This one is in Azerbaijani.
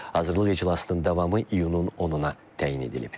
Hazırlıq iclasının davamı iyunun 10-na təyin edilib.